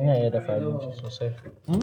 Ina iya dafa abinci sosai. Hmm.